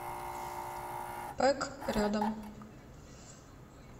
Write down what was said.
пэк рядом